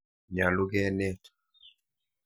Nyalu kenet.